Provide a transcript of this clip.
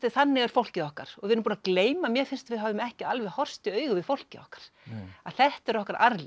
þannig er fólkið okkar og við erum búin að gleyma mér finnst að við höfum ekki alveg horfst í augu við fólkið okkar að þetta er okkar arfleifð